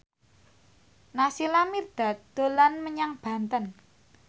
Naysila Mirdad dolan menyang Banten